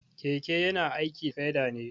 Keke yana aiki da peda ne.